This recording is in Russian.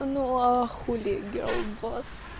ну а хули гёрл босс